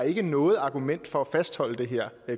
ikke noget argument for at fastholde det her